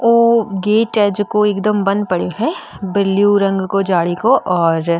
औ गेट है जेको एकदम बंद पड्यो है ब्लू रंग को जाली को और --